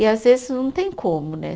E às vezes não tem como, né?